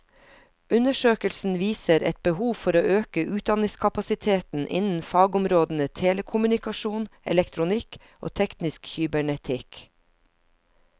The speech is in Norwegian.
Undersøkelsen viser et behov for å øke utdanningskapasiteten innen fagområdene telekommunikasjon, elektronikk og teknisk kybernetikk.